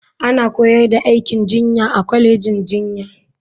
Ana koyar da aikin jinya a kwalejin jinya.